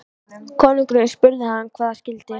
Konungurinn spurði hann hvað það skyldi.